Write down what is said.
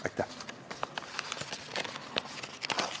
Aitäh!